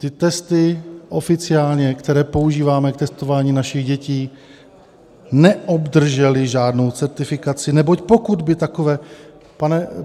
- Ty testy oficiálně, které používáme k testování našich dětí, neobdržely žádnou certifikaci, neboť pokud by takové...